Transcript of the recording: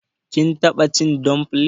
Kin taɓa cin damfilin